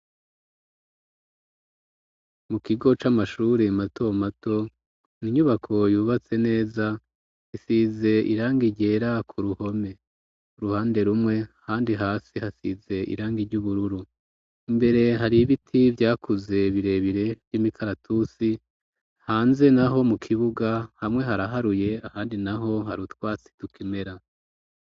Mu kigo c'amashure mato mato n'inyubako yubatse neza isize irangi ryera ku ruhome uruhande rumwe ahandi hasi hasize irangi ry'ubururu imbere hari ibiti vyakuze birebire vy'imikaratusi hanze naho mu kibuga hamwe haraharuye ahandi naho harutwatsi tukimera.